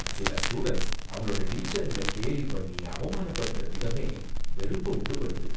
சில ஸ்டூடண்ட்ஸ் அவங்களோட டீச்சருங்கள கேலி பண்ணி அவமானப்படுத்தரத விதமே வெறுப்ப உண்டுபண்ணுது.